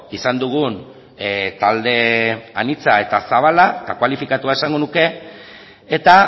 izan dugun talde anitza eta zabala kualifikatua esango nuke eta